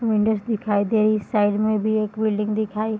Windows दिखाई दे रही साइड में भी एक बिल्डिंग दिखाई --